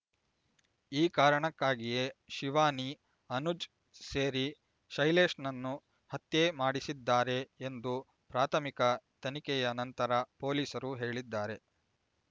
ಈ ಕಾರಣಕ್ಕಾಗಿಯೇ ಶಿವಾನಿ ಅನುಜ್ ಸೇರಿ ಶೈಲೇಶ್‌ನನ್ನು ಹತ್ಯೆ ಮಾಡಿಸಿದ್ದಾರೆ ಎಂದು ಪ್ರಾಥಮಿಕ ತನಿಖೆಯ ನಂತರ ಪೊಲೀಸರು ಹೇಳಿದ್ದಾರೆ